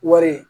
Wari